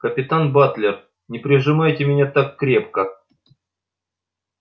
капитан батлер не прижимайте меня так крепко